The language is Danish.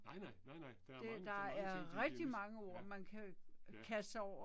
Nej nej, nej nej. Der er mange, der er mange ting som er engelsk. Ja. Ja